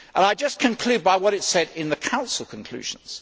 I just conclude by what it said in the Council conclusions.